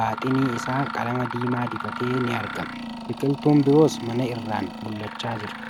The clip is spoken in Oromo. baaxiini isaa qalama diimaa. dibate ni argama. Biqiltuun biroos mana irraan mul'achaa jira.